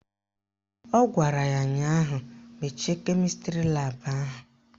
Ọ gwara ya ụnyaahụ "Mechie kemịstrị laabụ ahụ"!